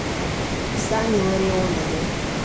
сане ларионове